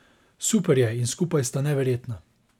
Super je in skupaj sta neverjetna.